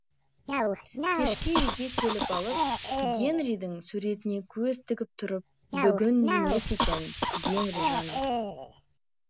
келіп алып гэнридің суретіне көз тігіп тұрып бүгін емес екен гэнри жаным